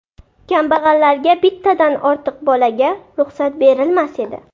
Kambag‘allarga bittadan ortiq bolaga ruxsat berilmas edi.